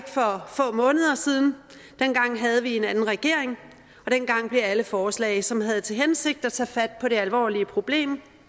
for få måneder siden dengang havde vi en anden regering og dengang blev alle forslag som havde til hensigt at tage fat på det alvorlige problem